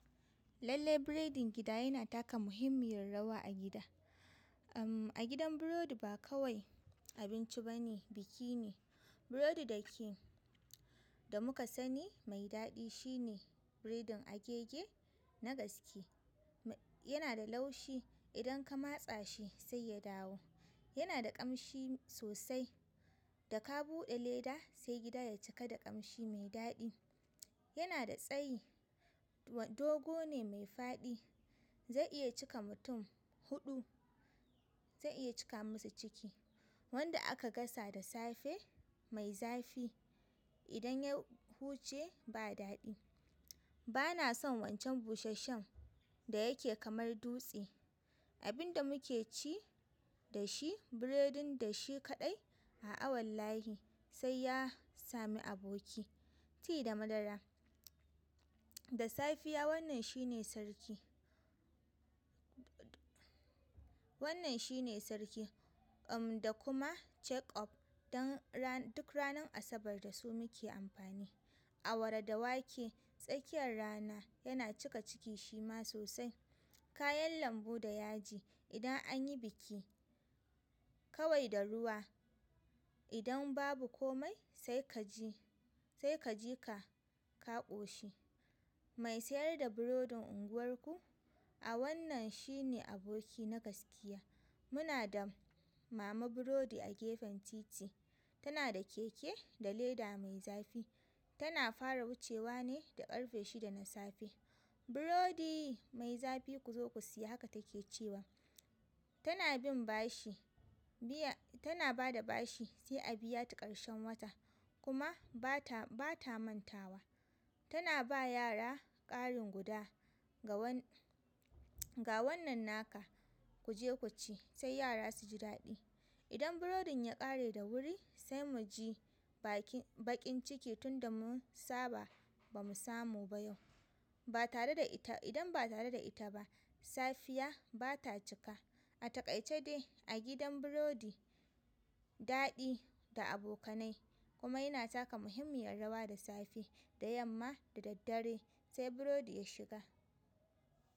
Lallai biredin gida yana taka muhimmiyar rawa a gida. Amm, a gidan burodi ba kawai abinci bane, biki ne. Burodi da ke da muka sani mai daɗi shine biredin agege na gaske. Yana da laushi, idan ka matsa shi sai ya dawo. Yana da ƙamshi sosai, da ka buɗe leda sai gida ya cika da ƙamshi mai daɗi. Yana da tsayi, dogo ne mai faɗi. Zai iya cika mutum huɗu, zai iya cika musu ciki. Wanda aka gasa da safe mai zafi, idan ya huce ba daɗi. Bana son wancan busasshen da yake kamar dutse. Abin da muke ci da shi, biredin da shi kaɗai, a'a wallahi sai ya sami aboki. Ti da madara. Da safiya wannan shi ne sarki. Wannan shi ne sarki, amm, da kuma check up don ran-- duk ranar Asabar da su muke amfani. Awara da wake, tsakiyar rana yana cika ciki shi ma sosai. Kayan lambu da yaji. Idan an yi biki kawai da ruwa, idan babu komai sai ka ji, sai ka ji ka ka ƙoshi. Mai sayar da burodin unguwarku? A wannan shine aboki na gaskiya. Muna da mama burodi a gefen titi. Tana da keke da leda mai zafi. Tana fara wucewa ne da ƙarfe shida na safe. "Burodi mai zafi ku zo ku siya" haka ta ke cewa. Tana bin bashi, biya-- tana bada bashi sai a biya ta ƙarshen wata. Kuma ba ta, ba ta mantawa. Tana ba yara ƙarin guda, ga wannan naka ku je ku ci sai yara su ji daɗi. Idan burodin ya kare da wuri sai mu ji bakinciki tunda mun saba ba mu samu ba yau ba tare da ita, idan ba tare da ita ba, safiya ba ta cika. A takaice dai a gidan burodi, daɗi da abokanai kuma yana taka muhimmiyar rawa da safe da yamma da daddare sai burodi ya shiga.